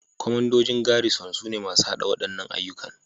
Kwamandojin Garrison sune masu haɗa waɗannan ayyuka